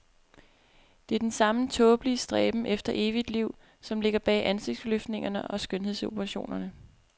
Det er den samme tåbelige stræben efter evigt liv, som ligger bag ansigtsløftninger og skønhedsoperationer.